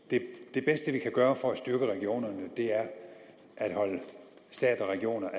det bedste vi kan gøre for at styrke regionerne er at holde stat og regioner